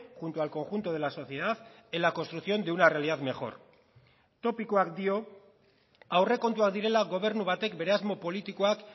junto al conjunto de la sociedad en la construcción de una realidad mejor topikoak dio aurrekontuak direla gobernu batek bere asmo politikoak